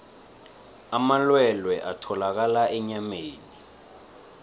amalwelwe atholakala enyameni